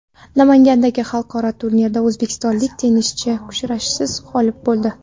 Namangandagi xalqaro turnirda o‘zbekistonlik tennischi kurashsiz g‘olib bo‘ldi.